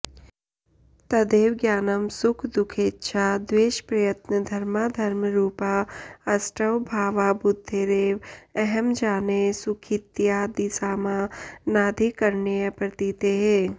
तदेव ज्ञानं सुखदुःखेच्छाद्वेषप्रयत्नधर्माधर्मरूपा अष्टौ भावा बुद्धेरेव अहं जाने सुखीत्यादिसामानाधिकरण्यप्रतीतेः